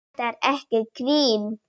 Þetta er ekki grín!